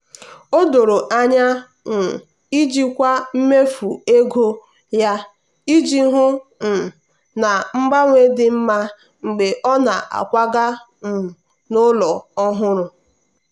o doro anya um jikwaa mmefu ego ya iji hụ um na mgbanwe dị mma mgbe ọ na-akwaga um n'ụlọ ọhụrụ.